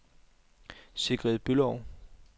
Sigrid Bülow